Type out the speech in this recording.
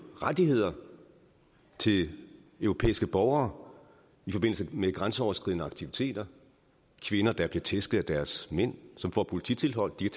rettigheder til europæiske borgere i forbindelse med grænseoverskridende aktiviteter kvinder der bliver tæsket af deres mænd som får polititilhold kan